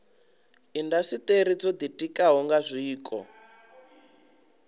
indasiteri dzo ditikaho nga zwiko